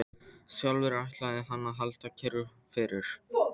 Sjálfur ætlaði hann að halda kyrru fyrir.